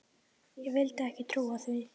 Ég vildi ekki trúa því.